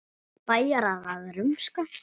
Bæjarar að rumska?